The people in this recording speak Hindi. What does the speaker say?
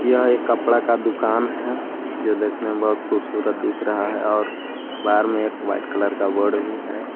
यह एक कपड़ा का दुकान है जो देखने में बहुत खूबसूरत दिख रहा है और बाहर में एक वाइट कलर का बोर्ड भी है।